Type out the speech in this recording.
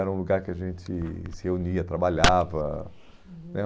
Era um lugar que a gente se reunia, trabalhava. Uhum. Né